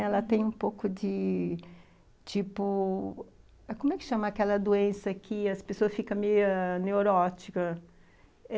Ela tem um pouco de, tipo, como é que chama aquela doença que as pessoas ficam meio neurótica?